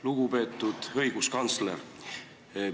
Lugupeetud õiguskantsler!